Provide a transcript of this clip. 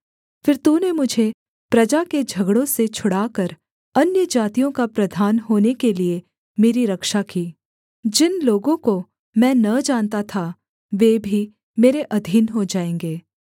फिर तूने मुझे प्रजा के झगड़ों से छुड़ाकर अन्यजातियों का प्रधान होने के लिये मेरी रक्षा की जिन लोगों को मैं न जानता था वे भी मेरे अधीन हो जाएँगे